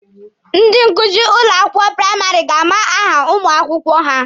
Ndị nkuzi ụlọ akwụkwọ praịmarị ga-ama aha ụmụ akwụkwọ ha.